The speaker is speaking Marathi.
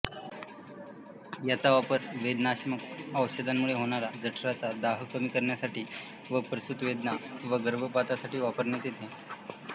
याचा वापर वेदनाशामक औषधांमुळे होणारा जठराचा दाह कमी करण्यासाठी व प्रसुतवेदना व गर्भपातासाठी वापरण्यात येते